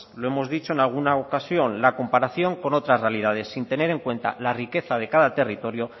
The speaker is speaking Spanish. lo hemos dicho en alguna ocasión la comparación con otras realidades sin tener en cuenta la riqueza de cada territorio